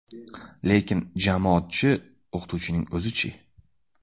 Lekin jamoat-chi, o‘qituvchining o‘zi-chi?